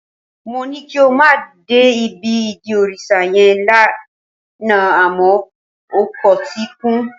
Mó ní kí o má dé ibi ìdí òrìṣà yẹn lánàá àmọ́ o kọtí ikún